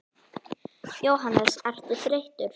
Jóhannes: Ertu þreyttur?